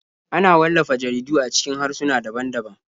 Ana wallafa jaridu a cikin harsuna daban-daban.